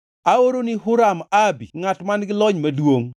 “Aoroni Huram-Abi ngʼat man-gi lony maduongʼ